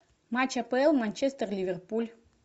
матч апл манчестер ливерпуль